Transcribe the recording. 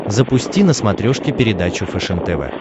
запусти на смотрешке передачу фэшен тв